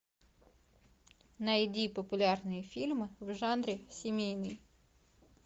найди популярные фильмы в жанре семейный